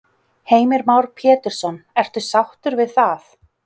Heimir Már Pétursson: Ertu sáttur við það?